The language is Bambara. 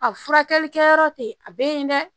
A furakɛli kɛyɔrɔ te yen a be yen dɛ